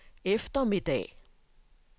eftermiddag